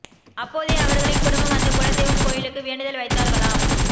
அப்போதே அவர்களின் குடும்பம் அந்த குல தெய்வம் கோயிலுக்கு வேண்டுதல் வைத்தார்களாம்